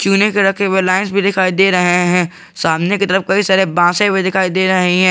Lines भी दिखाई दे रहे हैं सामने की तरफ बड़ी सारी बांसें भी दिखाई दे रही हैं।